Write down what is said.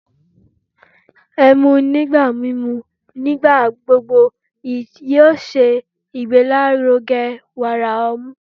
ẹmu nigba mimu nigbagbogbo yóò ṣe igbelaruge wara ọmu